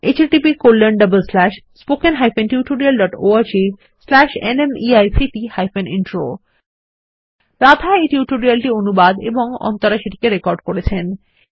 httpspoken tutorialorgNMEICT Intro Radha এই tutorial টি অনুবাদ এবং অন্তরা সেটিকে রেকর্ড করেছেন